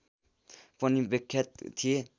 पनि विख्यात थिए